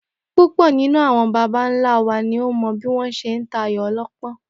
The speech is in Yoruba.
Púpò̩ nínú àwo̩n baba ńlá wa ni ó mò̩ bí wó̩n s̩e ń ta ayò o̩ló̩pó̩n